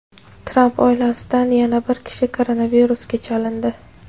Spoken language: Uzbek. Tramp oilasidan yana bir kishi koronavirusga chalindi.